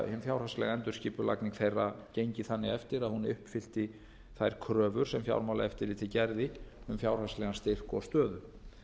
fjárhagslega endurskipulagning þeirra gengi þannig eftir að hún uppfyllti þær kröfur sem fjármálaeftirlitið gerði um fjárhagslegan styrk og stöðu